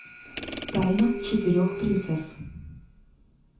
тайна четырех принцесс